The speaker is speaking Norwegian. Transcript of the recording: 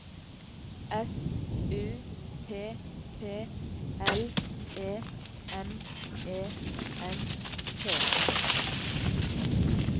S U P P L E M E N T